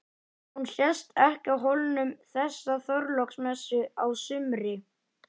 Hún sést ekki á Hólum þessa Þorláksmessu á sumri.